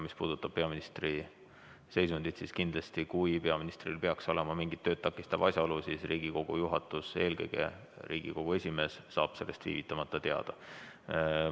Mis puudutab peaministri seisundit, siis kindlasti, kui peaministril peaks olema mingi tööd takistav asjaolu, saab Riigikogu juhatus, eelkõige Riigikogu esimees sellest viivitamata teada.